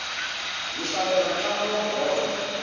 hi hlalela ntlangu wa bolo